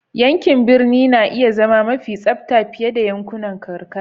Yankin birni na iya zama mafi tsabta fiye da yankunan karkara.